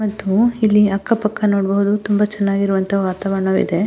ಮತ್ತು ಇಲ್ಲಿ ಅಕ್ಕ ಪಕ್ಕ ನೋಡುವವರು ನೋಡುವಂಥ ತುಂಬಾ ಚೆನ್ನಗಿರುವಂಥ ವಾತಾವರಣ ಇದೆ.